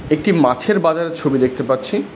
একটি মাছের বাজারের ছবি দেখতে পাচ্ছি।